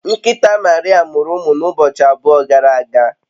Nkịta Maria mụrụ ụmụ n’ụbọchị abụọ gara aga